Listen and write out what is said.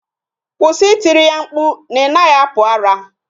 Kwụsị I tiri ya mkpu na ị naghị apụ ara